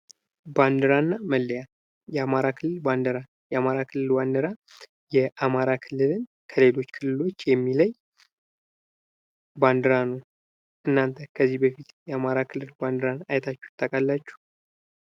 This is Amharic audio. ባንዲራ እና መለያ የአማራ ክልል ባንዲራ የአማራ ክልል ባንዲራ የአማራ ክልልን ከሌሎች ክልሎች የሚለይ ባንዴራ ነው። ለእናንተ ከዚህ በፊት የአማራ ክልል ባንዲራን አይታችሁ ታውቃላችሁ?